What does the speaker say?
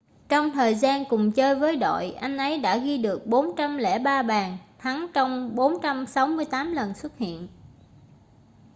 trong thời gian cùng chơi với đội anh ấy đã ghi được 403 bàn thắng trong 468 lần xuất hiện